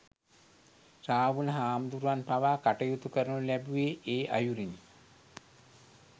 රාහුල හාමුදුරුවන් පවා කටයුතු කරනු ලැබුවේ, ඒ අයුරෙනි.